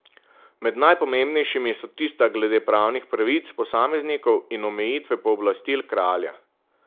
Med najpomembnejšimi so tista glede pravnih pravic posameznikov in omejitve pooblastil kralja.